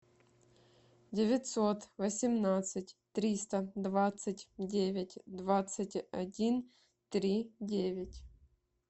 девятьсот восемнадцать триста двадцать девять двадцать один три девять